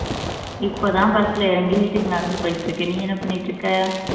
இப்போ தான் bus ல இறங்கி வீட்டுக்கு நடந்து போயிட்டு இருக்கேன் நீ என்ன பண்ணிட்டு இருக்க